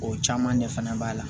O caman ɲɛ fana b'a la